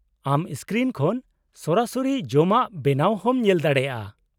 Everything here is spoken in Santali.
-ᱟᱢ ᱥᱠᱨᱤᱱ ᱠᱷᱚᱱ ᱥᱚᱨᱟᱥᱚᱨᱤ ᱡᱚᱢᱟᱜ ᱵᱮᱱᱟᱣ ᱦᱚᱸᱢ ᱧᱮᱞ ᱫᱟᱲᱮᱭᱟᱜᱼᱟ ᱾